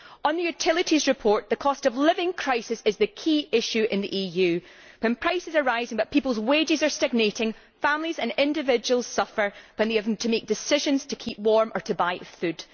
On the utilities report, the cost of living crisis is the key issue in the EU. When prices are rising but people's wages are stagnating, families and individuals suffer when having to make decisions on whether to keep warm or buy food.